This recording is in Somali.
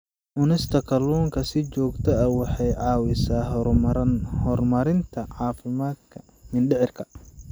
Cunista kalluunka si joogto ah waxay caawisaa horumarinta caafimaadka mindhicirka.